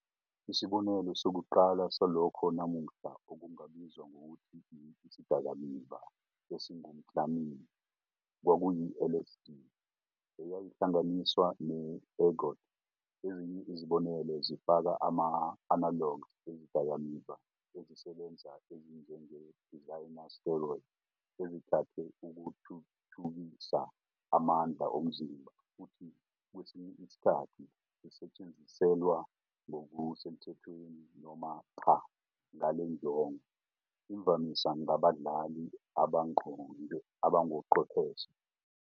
Isibonelo sokuqala salokho namuhla okungabizwa ngokuthi 'isidakamizwa esingumklami' kwakuyi- LSD, eyayihlanganiswa ne-ergot. Ezinye izibonelo zifaka ama-analogs ezidakamizwa ezisebenza ezinjenge-designer steroids ezithathwe ukuthuthukisa amandla omzimba futhi kwesinye isikhathi zisetshenziselwa, ngokusemthethweni noma cha, ngale njongo, imvamisa ngabadlali abangochwepheshe.